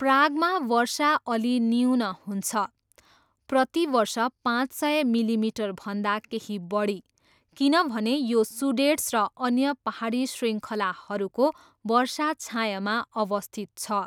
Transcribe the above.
प्रागमा वर्षा अलि न्यून हुन्छ, प्रति वर्ष पाँच सय मिलिमिटरभन्दा केही बढी, किनभने यो सुडेट्स र अन्य पाहाडी शृङ्खलाहरूको वर्षा छायामा अवस्थित छ।